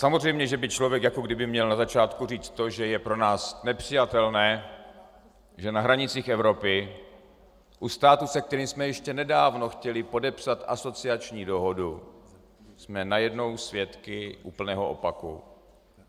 Samozřejmě že by člověk jako kdyby měl na začátku říct to, že je pro nás nepřijatelné, že na hranicích Evropy, u státu, se kterým jsme ještě nedávno chtěli podepsat asociační dohodu, jsme najednou svědky úplného opaku.